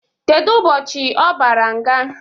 Kedụ ụbọchị ọ bara nga?